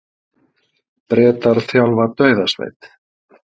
Bretar þjálfa dauðasveit